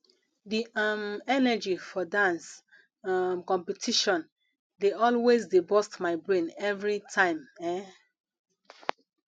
the um energy for dance um competition dey always dey burst my brain every time um